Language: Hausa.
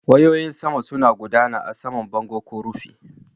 Wayoyin saman suna gudana a saman bango ko rufi.